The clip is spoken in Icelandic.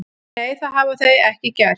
Nei, það hafa þau ekki gert